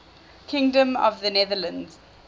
kingdom of the netherlands